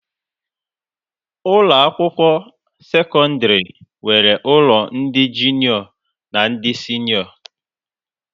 Ụlọ akwụkwọ sekọndrị nwere ụlọ ndị jụnịọ na ndị sịnịọ